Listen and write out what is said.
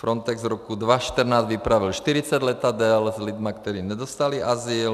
Frontex v roce 2014 vypravil 40 letadel s lidmi, kteří nedostali azyl.